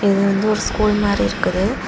இது வந்து ஒரு ஸ்கூல் மாறி இருக்குது.